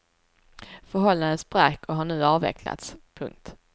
Förhållandet sprack och har nu avvecklats. punkt